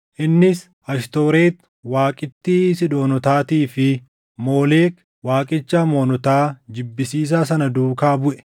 Innis Ashtooreti waaqittii Siidoonotaatii fi Moolek waaqicha Amoonotaa jibbisiisaa sana duukaa buʼe.